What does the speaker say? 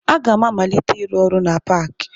Aga m amalite ịrụ ọrụ na paakị